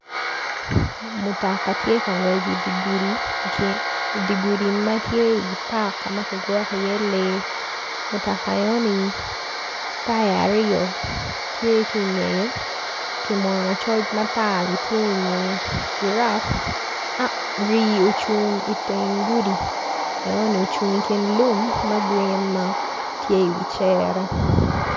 Mutoka tye ka ngec idi gudi di gudi ma tye i pak ma kigwoko iye lee mutoka enoni taya aryo tye ki ngeye kimwono coc matar bene tye ingeye Rii ocung iteng gudi enoni ocung i kin lum ma grin ma tye iwi cere.